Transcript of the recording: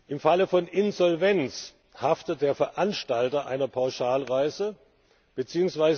Im Falle von Insolvenz haftet der Veranstalter einer Pauschalreise bzw.